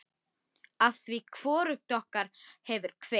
Afþvíað hvorugt okkar hefur kveikt.